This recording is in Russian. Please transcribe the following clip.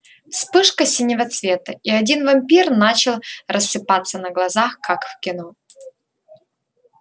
вспышка синего цвета и один вампир начал рассыпаться на глазах как в кино